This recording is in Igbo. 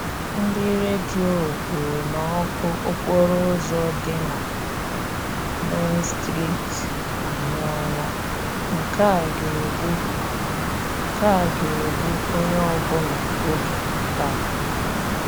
Ndị Redio kwuru na ọkụ okporo ụzọ dị na Main street anyụọla; nke a ga-egbu nke a ga-egbu onye ọbụla oge taa.